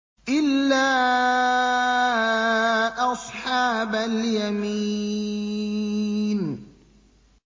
إِلَّا أَصْحَابَ الْيَمِينِ